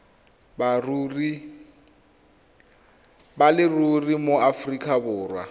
ba leruri mo aforika borwa